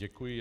Děkuji.